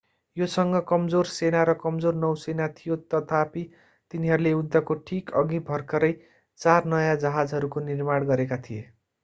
योसँग कमजोर सेना र कमजोर नौसेना थियो तथापि तिनीहरूले युद्धको ठीक अघि भर्खरै चार नयाँ जहाजहरूको निर्माण गरेका थिए